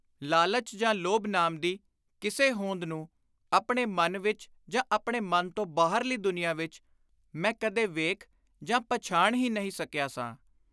ਲਾਲਚ ਜਾਂ ਲੋਭ ਨਾਮ ਦੀ ਕਿਸੇ ਹੋਂਦ ਨੂੰ ਆਪਣੇ ਮਨ ਵਿਚ ਜਾਂ ਆਪਣੇ ਮਨ ਤੋਂ ਬਾਹਰਲੀ ਦੁਨੀਆਂ ਵਿਚ ਮੈਂ ਕਦੇ ਵੇਖ ਜਾਂ ਪਛਾਣ ਹੀ ਨਹੀਂ ਸਕਿਆ ਸਾਂ।